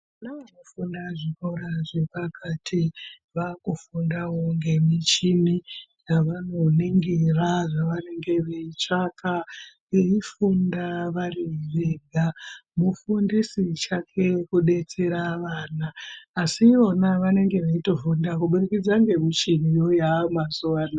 Na anofunda kuzvikora ra zvepakati vakufundawo ngemichini yavanoningira zvavanenge veitsvaka eifunda vari vega mufundisi chake kudetsera ana asi ivo a vanenga veitofunda kubudikidza ngemichini yaayo mazuwa anaya.